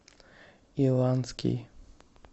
иланский